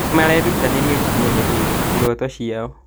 Nĩmarerutanĩria gũkinyanĩria iroto ciao